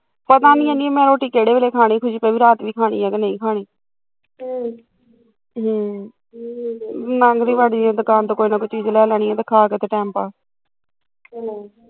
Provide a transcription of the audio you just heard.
ਪਤਾ ਨੀ ਅੜੀਏ ਮੈਂ ਰੋਟੀ ਕਿਹਦੇ ਵੇਲੇ ਖਾਣੀ ਪਤਾ ਨੀ ਰਾਤ ਵੀ ਖਾਣੀ ਕੀ ਨਹੀਂ ਅਮ ਹਮ ਲੰਘਦੇ ਵੜਦੇ ਦੁਕਾਨ ਤੋਂ ਕੋਈ ਨਾ ਕੋਈ ਚੀਜ਼ ਲੈ ਲੈਨੀ ਆ ਤੇ ਖਾ ਕੇ ਟੈਮ ਪਾਸ ਹਮ